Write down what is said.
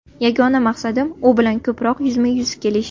Yagona maqsadim u bilan ko‘proq yuzma-yuz kelish.